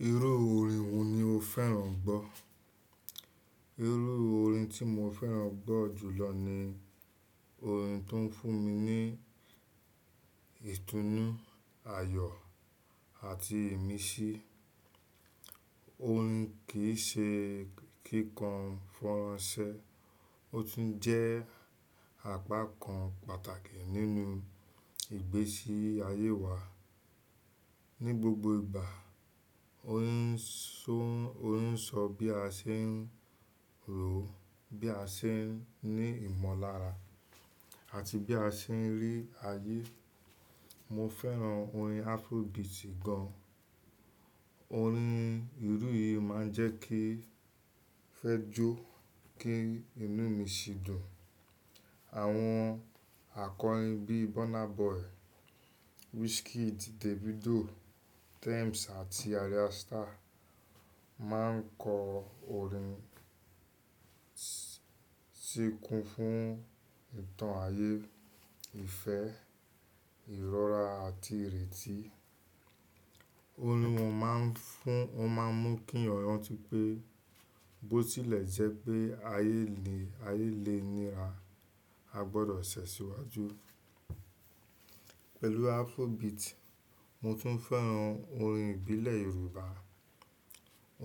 Irú orin wo ni o fẹ́ràn gbọ́? Irú orin tí mo fẹ́ràn gbọ́ jùlọ ni orin tó ń fún mi ní ìtúnu, ayọ̀ àti ìmísí. Orin kì í ṣe kíkọ fọ́nránsẹ́, ó tún jẹ́ apá kan pàtàkì nínú ìgbésí ayé wa. Ni gbogbo ìgbà, orin ń sọ bí a ṣe ń rò ó, bí a ṣe ń ní ìmọ̀lára àti bí a ṣe ń rí ayé. Mo fẹ́ràn orin Afrobeat gan. Orin irú yìí máa ń jẹ́ kí ń fẹ́ jó, kí inú mi ṣì dùn. Àwọn akọrin bí Burna Boy, Wizkid, Davido, Tems àti Arya Starr máa ń kọ orin tí kún fún ìtàn ayé, ìfẹ́, ìrora àti ìrètí. Orin wọn máa ń mú kí èèyàn rántí pé bó tilẹ̀ jẹ́ pé ayé le níra, a gbọdọ̀ sẹ̀ síwájú. Pẹ̀lú Afrobeat, mo tún fẹ́ràn orin ìbílẹ̀ Yorùbá.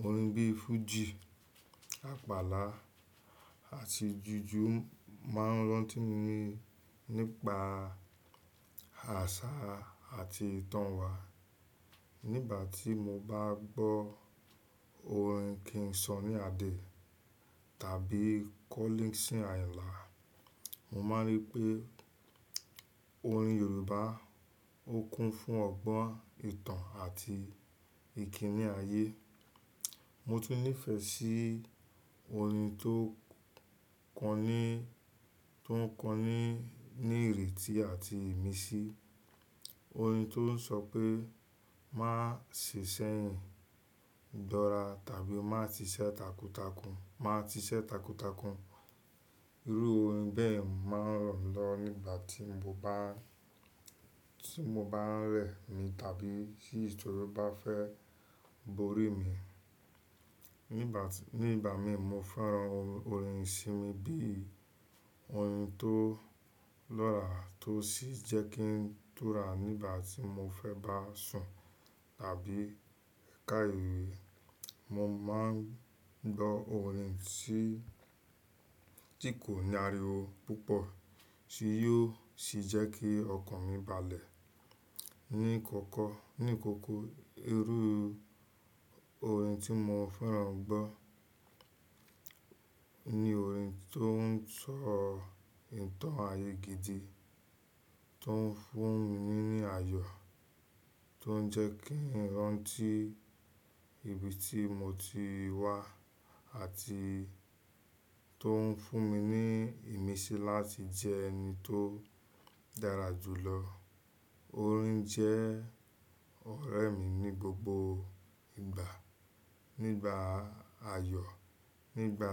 Orin bí fújì, àpàlà àti jùjú máa ń rántí mi nípa àṣà àti ìtàn wa. Nígbà tí mo bá gbọ́ orin "King Sunny Adé" tàbí "Kọ́lí Sìn Àyinlà", mo máa rí pé orin Yorùbá ó kún fún ọgbọ́n, ìtàn àti ìkíni ayé. Mo tún nífẹ̀ẹ́ sí orin tó ń kọ ní ìrètí àti ìmísí. Orin tó ń sọ pé "Má ṣe ṣẹ̀yìn gbora" tàbí "Má ti ṣẹ́ takuntakun". Irú orin bẹ́ẹ̀ máa ń ràn mí lọ nígbà tí mo bá ń rẹ̀ mí tàbí tí ìṣòro bá fẹ́ borí mi. Ní ìgbà mìí, mo fẹ́ràn orin ìsinmi bí i orin tó lọ́ra tó sì jẹ́ kí ń dúrà nígbà tí mo fẹ́ bá sùn tàbí ká ìwé. Mo máa ń gbọ́ orin tí kò ní ariwo púpọ̀ tí yóò sì jẹ́ kí ọkàn mi balẹ̀. Ní àkọ́ kọ́, irú orin tí mo fẹ́ràn gbọ́ ni orin tó ń sọ ìtàn ayé gidi, tó ń fún mi ní ayọ̀, tó ń jẹ́ kí n rántí ibi tí mo ti wá àti tó ń fún mi ní ìmísí láti jẹ́ ẹni tó dára jùlọ. Orin jẹ́ ọ̀rẹ́ mi ní gbogbo ìgbà; nígbà ayọ̀, nígbà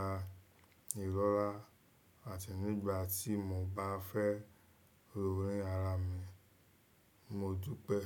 ìrora àti nígbà tí mo bá fẹ́ ro orí ara mi. Mo dúpẹ́.